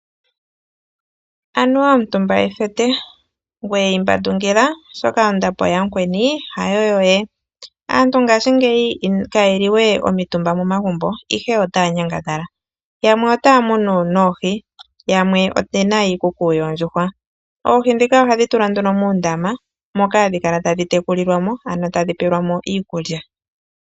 Anuwa omutumba ethete, ngweye imbandungila oshoka ondapo yamukweni hayo yoye. Aantu ngaashingeyi kaye li we omitumba momagumbo ihe otaya nyangadhala yamwe otaa munu noohi ,yamwe oye na iikuku yoondjuhwa. Oohi ndhika ohadhi tulwa nduno muundama moka hadhi kala tadhi tekulilwamo ,ano tadhi pewelwamo iikulya.